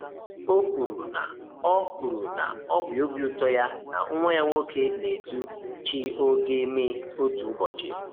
O kwuru na ọ kwuru na ọ bụ obi ụtọ ya na nwa ya nwoke na-edu CHOGM otu ụbọchị.